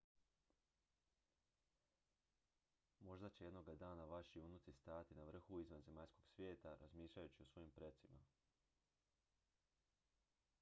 možda će jednoga dana vaši unuci stajati na vrhu izvanzemaljskog svijeta razmišljajući o svojim precima